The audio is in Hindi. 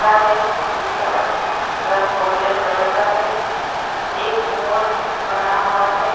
पा है जिसका रंग गोल्डन कलर का है एक मोर बनाहुआ है।